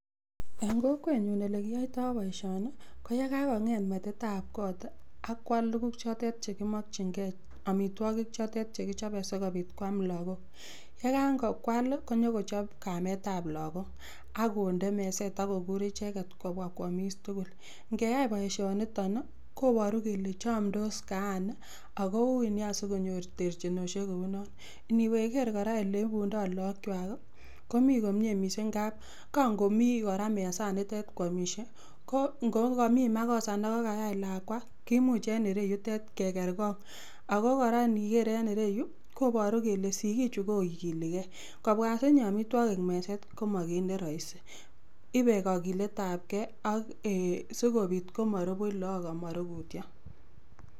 En kokwet nyun olekioitoi boisioni, ko yekakong'et metitab koot, akwal tuguk chotet chegimokyin Kee, omitwogik chotet chekichobe sikopit kwam lagok. Ye ka kwal konyong'ochop kamet ab logok ak konde meset akokur icheget kobwa kwomis tugul. Ngeyai boisioniton , koboru kole chomdos kaan, akoui nea sikonyor terchinosiek kou non. Iniwe kora iker oleibundo lagok kwai , komi komie mising ngap, kang'omi kaan mesananito kwomisie, ko ng'ogomi makosa nekaayai lakwa, kimuch en ereyutet kegerkong'. Ako kora niker en ireyu koporu kele sikik chu kokilikee. Kobwa osinye omitwogik meset koma kiit neroisi. Ipe kagilet ab kee ak sikopiit komoru buuch lagok ana amorukutyo.